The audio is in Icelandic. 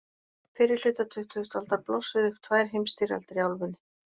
Fyrri hluta tuttugustu aldar blossuðu upp tvær heimsstyrjaldir í álfunni.